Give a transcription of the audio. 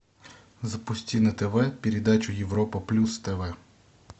запусти на тв передачу европа плюс тв